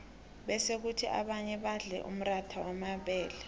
bese khuthi abanye badle umratha wamabele